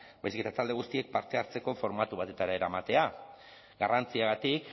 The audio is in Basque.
baizik eta talde guztiek parte hartzeko formatu batetara eramatea garrantziagatik